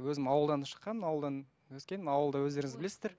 өзім ауылдан шыққанмын ауылдан өскенмін ауылда өздеріңіз білесіздер